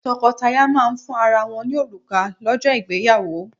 Tọ́kọtaya máà ń fún ara wọ́n ní òrùka lọ́jọ́ ìgbéyàwó.